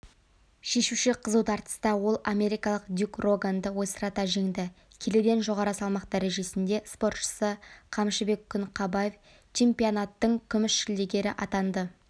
шешуші қызу тартыста ол америкалық дюк роганды ойсырата жеңді келіден жоғары салмақ дәрежесінде спортшысы қамшыбек күнқабаев чемпионаттың күміс жүлдегерң атанды